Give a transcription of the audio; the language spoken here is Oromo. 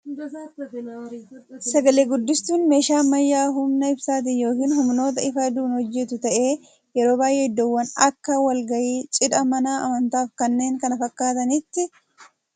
Sagalee guddistuun meeshaa ammayyaa humna ibsaatiin yookiin humnoota ifa aduun hojjetu ta'ee, yeroo baay'ee iddoowwan akka wal gahii, cidhaa, mana amantaa fi kanneen kana fakkaatanitti meeshaa nu fayyadudha. Meeshaa kan biraatti hidhamee hojjeta.